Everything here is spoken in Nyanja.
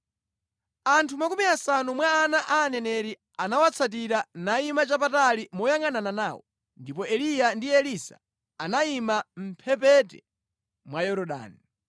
Anthu makumi asanu mwa ana a aneneri anawatsatira nayima chapatali moyangʼanana nawo ndipo Eliya ndi Elisa anayima mʼmphepete mwa Yorodani.